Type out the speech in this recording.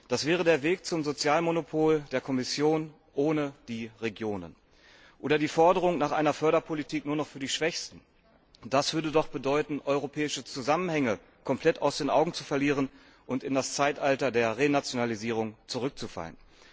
Das wäre der Weg zum Sozialmonopol der Kommission ohne die Regionen oder die Forderung nach einer Förderpolitik nur noch für die Schwächsten, und das würde doch bedeuten, europäische Zusammenhänge komplett aus den Augen zu verlieren und in das Zeitalter der Renationalisierung zurückzufallen.